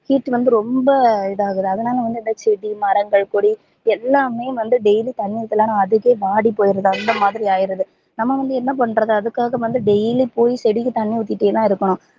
heat வந்து ரொம்ப இதா ஆகுது அதுனால இந்த செடி மரங்கள் கொடி எல்லாமே வந்து daily தண்ணீ ஊத்தலனா அதுவே வாடி போயிருது அந்த மாதிரி ஆயிடுது நம்ப வந்து என்ன பண்றது அதுக்காக வந்து daily போய் செடிக்கு தண்ணீ ஊத்திட்டேதா இருக்கணும்